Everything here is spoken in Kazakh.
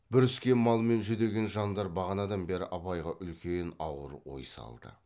бүріскен мал мен жүдеген жандар бағанадан бері абайға үлкен ауыр ой салды